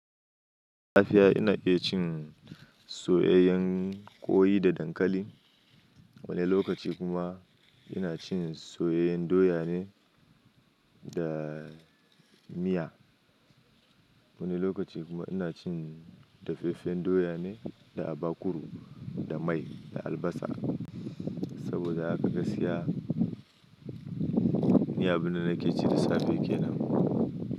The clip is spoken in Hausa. Lafiya ina iya cin soyayyen ƙoyi da dankali. Wani lokaci kuma ina cin soyayyen doya ne da miya. Wani lokaci kuma ina cin dafeffen doya ne da abakuru, da mai da albasa saboda haka gaskiya. Ni abin da nake ci da safe kenan.